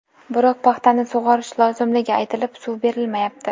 Biroq paxtani sug‘orish lozimligi aytilib, suv berilmayapti.